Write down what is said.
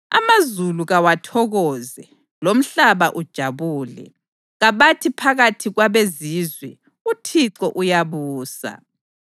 Amazulu kawathokoze, lomhlaba ujabule, kabathi phakathi kwabezizwe, “ UThixo uyabusa.”